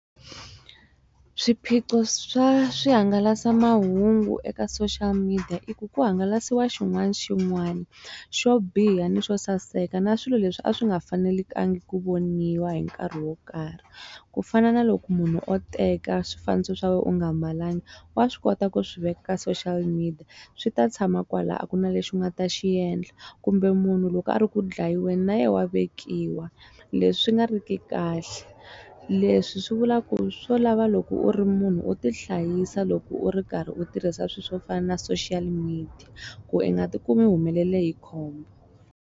Swiphiqo swa swihangalasamahungu eka social media i ku ku hangalasiwa xin'wana xin'wani xo biha ni swo saseka na swilo leswi a swi nga fanelekangi ku voniwa hi nkarhi wo karhi ku fana na loko munhu o teka swifaniso swa wena u nga mbalanga wa swi kota ku swiveka ka social media swi ta tshama kwala a ku na lexi u nga ta xiendla kumbe munhu loko a ri ku dlayiweni na yena wa vekiwa leswi nga ri ki kahle leswi swi vula ku swo lava loko u ri munhu u tihlayisa loko u ri karhi u tirhisa swilo swo fana na social media ku u nga ti kumi humelele hi khombo.